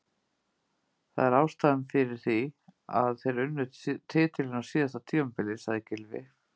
Það er ástæðan fyrir því að þeir unnu titilinn á síðasta tímabili, sagði Gylfi.